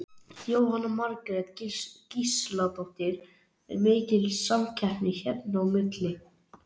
Jóhanna Margrét Gísladóttir: Er mikil samkeppni hérna á milli?